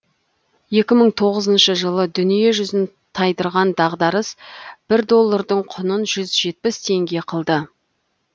екі мың тоғызыншы жылы дүниежүзін тайдырған дағдарыс бір доллардың құнын жүз жетпіс теңге қылды